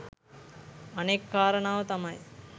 අනෙක් කාරණාව තමයි